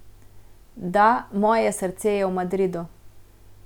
Da, moje srce je v Madridu.